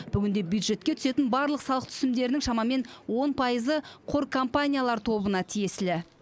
бүгінде бюджетке түсетін барлық салық түсімдерінің шамамен он пайызы қор компаниялар тобына тиесілі